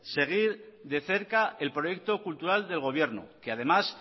seguir de cerca el proyecto cultural del gobierno que además